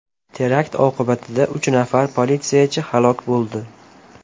Terakt oqibatida uch nafar politsiyachi halok bo‘ldi.